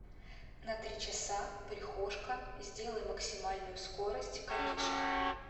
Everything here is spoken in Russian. на три часа прихожка сделай максимальную скорость кондишена